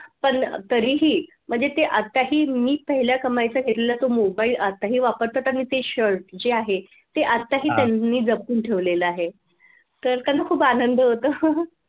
पण तरीही म्हणजे ते आताही मी पहिला कमाईचा घेतलेला मोबाईल आता ते वापरतात आणि ते shirt जे आहे ते आताही त्यांनी जपून ठेवले आहे तर त्यांना खूप आनंद होतो.